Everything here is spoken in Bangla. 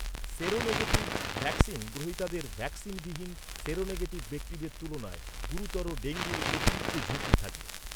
সেরোনেগেটিভ ভ্যাকসিন গ্রহীতাদের ভ্যাকসিনবিহীন সেরোনেগেটিভ ব্যক্তিদের তুলনায় গুরুতর ডেঙ্গুর অতিরিক্ত ঝুঁকি থাকে।